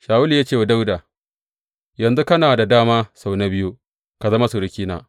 Shawulu ya ce wa Dawuda, Yanzu kana da dama sau na biyu ka zama surukina.